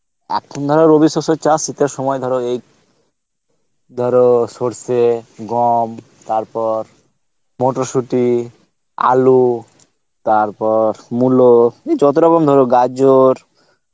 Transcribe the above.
এখন ধর চাস স্থিতের সময় ধর এই ধর সর্ষে, গম, তারপর মোটর শুটি, আলু, তারপর মূলো, এই যত রকম ধর গাজর